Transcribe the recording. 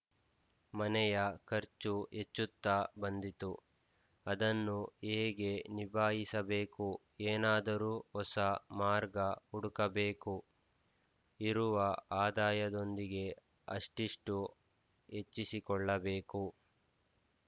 ಮನೆಯ ಖರ್ಚು ಹೆಚ್ಚುತ್ತ ಬಂದಿತು ಅದನ್ನು ಹೇಗೆ ನಿಭಾಯಿಸಬೇಕು ಏನಾದರೂ ಹೊಸ ಮಾರ್ಗ ಹುಡುಕಬೇಕು ಇರುವ ಆದಾಯದೊಂದಿಗೆ ಅಷ್ಟಿಷ್ಟು ಹೆಚ್ಚಿಸಿಕೊಳ್ಳಬೇಕು